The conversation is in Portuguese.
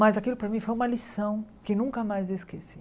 Mas aquilo para mim foi uma lição que nunca mais eu esqueci.